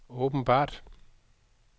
åbenbart